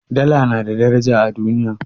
Dala na da daraja a duniya.